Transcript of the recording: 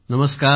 नमस्कार